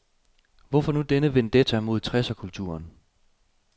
Hvorfor nu denne vendetta mod tresserkulturen.